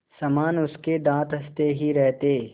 समान उसके दाँत हँसते ही रहते